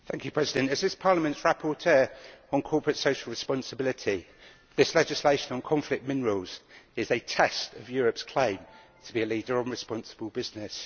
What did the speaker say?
Mr President, as this Parliament's rapporteur on corporate social responsibility, I view this legislation on conflict minerals as a test of Europe's claim to be a leader on responsible business.